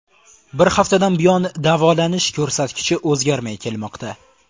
Bir haftadan buyon davolanish ko‘rsatkichi o‘zgarmay kelmoqda.